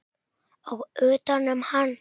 Og utanum hann.